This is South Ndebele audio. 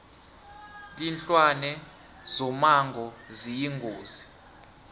linlwane zomango ziyingozi